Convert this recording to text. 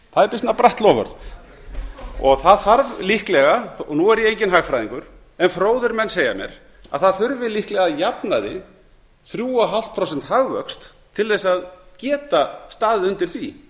það er býsna bratt loforð nú er ég enginn hagfræðingur en fróðir menn segja mér að það þurfi líklega að jafnaði þrjú komma fimm prósenta hagvöxt til þess að geta staðið undir því